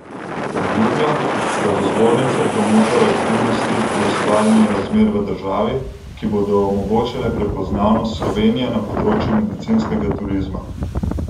Obljublja, da bo zbornica promotor aktivnosti pri ustvarjanju razmer v državi, ki bodo omogočale prepoznavnost Slovenije na področju medicinskega turizma.